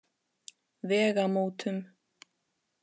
Vegamótum